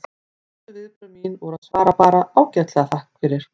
Fyrstu viðbrögð mín voru að svara bara: Ágætlega, takk fyrir